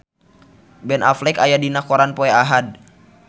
Ben Affleck aya dina koran poe Ahad